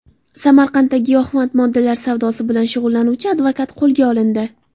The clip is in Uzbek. Samarqandda giyohvand moddalar savdosi bilan shug‘ullanuvchi advokat qo‘lga olindi.